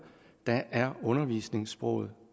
er undervisningssproget